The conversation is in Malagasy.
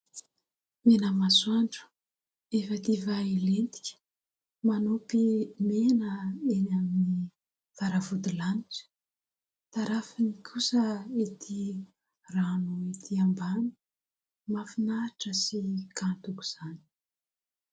Mena masoandro efa hadiva hilentika, manopy mena eny amin'ny varavodilanitra ; tarafiny kosa ety rano ety ambany mahafinaritra sy kanto aoka izany.